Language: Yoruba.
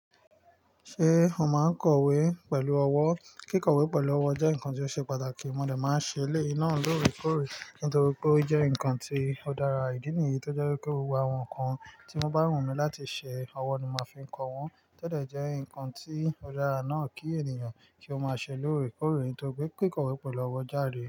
Ṣé o máa ń kọ̀wé pẹ̀lú ọwọ́? Kíkọ̀wé pẹ̀lú ọwọ́ jẹ́ nǹkan tó ṣe pàtàkì, mo de máa ń ṣe eleyiì náà lórèkórè nítorí pé ó jẹ́ nǹkan tó dára. Ìdí nìyí tó jẹ́ kí ó wá ohun kan tí mo bá rùn mí láti ṣẹ, ọwọ́ ni màá fi ń kọ wọ́n. To de jẹ́ nǹkan tí ó dára náà kí ènìyàn kí ó máa ṣe lórèkórè torí pé kíkọ̀wé pẹ̀lú ọwọ́ járe.